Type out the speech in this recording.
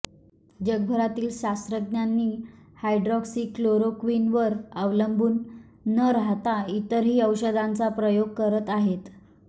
जगभरातील शास्त्रज्ञांनी हायड्रॉक्सिक्लोरोक्विनवर अवलंबून न राहता इतरही औषधांचा प्रयोग करत आहेत